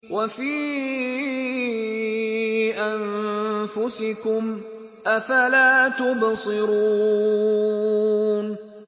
وَفِي أَنفُسِكُمْ ۚ أَفَلَا تُبْصِرُونَ